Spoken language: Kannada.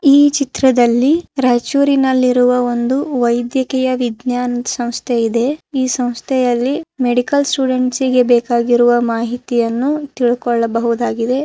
ಈ ಚಿತ್ರದಲ್ಲಿ ರಾಯಚೂರಿನಲ್ಲಿರುವ ಒಂದು ವೈದ್ಯಕೀಯ ವಿಜ್ನ್ಯಾನ ಸಂಸ್ಥೆ ಇದೆ. ಈ ಸಂಸ್ಥೆಯಲ್ಲಿ ಮೆಡಿಕಲ್ ಸ್ಟೂಡೆಂಟ್ಸ್ ಇಗೆ ಬೇಕಾಗಿರುವ ಮಾಹಿತಿಯನ್ನು ತಿಳಕೊಳ್ಳಬಹುದಾಗಿದೆ.